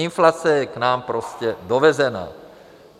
Inflace je k nám prostě dovezena.